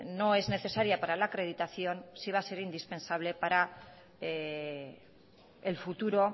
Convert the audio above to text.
no es necesaria para la acreditación sí va a ser indispensable para el futuro